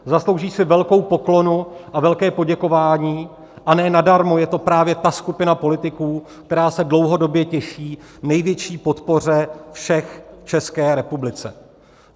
Zaslouží si velkou poklonu a velké poděkování, a ne nadarmo je to právě ta skupina politiků, která se dlouhodobě těší největší podpoře všech v České republice.